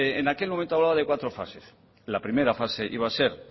bueno en aquel momento hablaba de cuatro fases la primera fase iba a ser